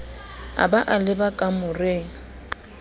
a ba a leba kamoreng